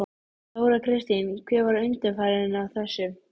Marteinn Einarsson átti sér engrar undankomu auðið.